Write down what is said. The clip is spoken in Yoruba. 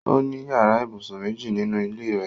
Ó ní yàrá-ìbùsùn méjì nínú ilé rẹ̀.